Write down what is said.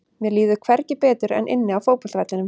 Mér líður hvergi betur en inni á fótboltavellinum.